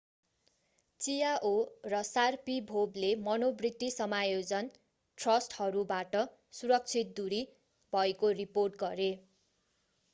chiao र sharipovले मनोवृत्ति समायोजन थ्रस्टरहरूबाट सुरक्षित दूरी भएको रिपोर्ट गरे।